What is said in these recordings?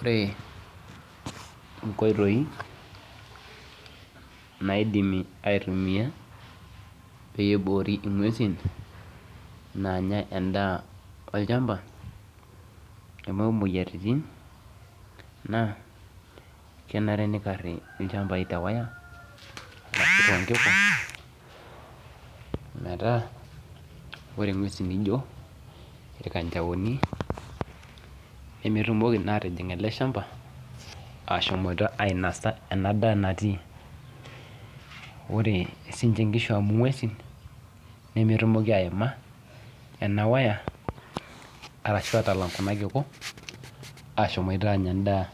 Ore inkoitoi naaidimi aitumia peiboori ing'uesin naanya endaa olchamba meibung muoyaritin naa kenare neikarri ilchambai te wire , toonkiku metaa ore ng'uesi nijo ilkanjaoni nemetumoki naa atijing' ele shamba ashomoita ainosa ena daa natii. Ore siinche nkishu amu ng'uesin nemetumoki aima eja wire ashu atalang' kuna kiku ashomoita anya endaa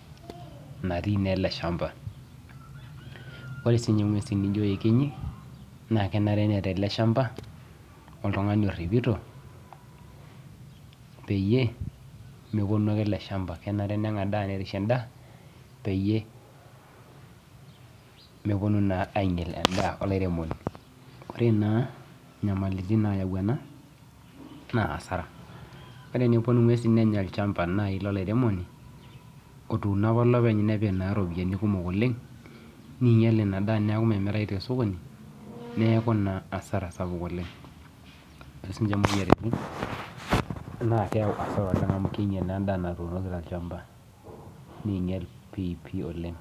natii naa ele  shamba. Ore siinye ng'uesin nijo ekenyi naakenare neeta ele shamba oltung'ani orripito peyie mepuonu ake ele shamba kenare neng'adaa nerishe endaa peyie mepuonu naa ainyal endaa olairemoni. Ore naa nyamalitin naayau ena naa hasara. Ore enepuonu ng'uesi nenya olchamba nai lolairemoni otuuno apa olopeny nepik naa iropiani kumok oleng' neeinyal ina daa neaku memirayu tesokoni neaku naa asara sapuk oleng'. Ore siinche muoyaritin naakeyau hasara oleng' amu keinyal naaendaa natuunoki tolchamba. Neinyal piipii oleng'.